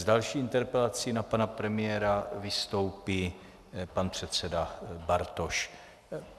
S další interpelací na pana premiéra vystoupí pan předseda Bartoš.